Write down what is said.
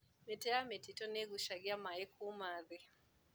Mĩtĩ ya mĩtitũ nĩigucagia maĩ kuma thĩ.